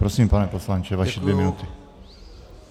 Prosím, pane poslanče, vaše dvě minuty.